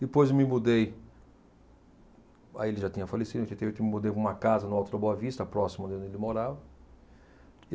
Depois me mudei Aí ele já tinha falecido, oitenta e oito, eu me mudei para uma casa no Alto da Boa Vista, próximo ali onde ele morava.